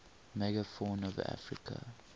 megafauna of africa